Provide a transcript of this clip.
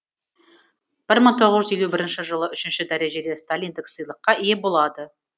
бір мың тоғыз жүз елу бірінші жылы үшінші дәрежелі сталиндік сыйлыққа ие болады